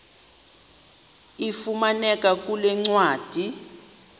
ifumaneka kule ncwadi